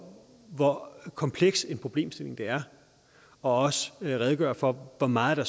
hvor kompleks en problemstilling det er og også redegør for hvor meget der